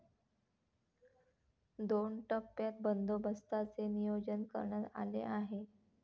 दोन टप्प्यात बंदोबस्ताचे नियोजन करण्यात आले आहे.